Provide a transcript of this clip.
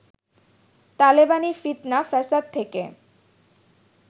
তালেবানি ফিৎনা ফ্যাসাদ থেকে